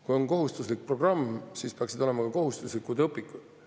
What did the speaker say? Kui on kohustuslik programm, siis peaksid olema ka kohustuslikud õpikud.